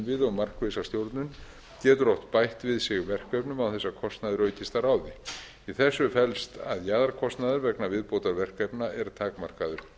innviði og markvissa stjórnun getur oft bætt við sig verkefnum án þess að kostnaður aukist að ráði í þessu felst að jaðarkostnaður vegna viðbótarverkefna er takmarkaður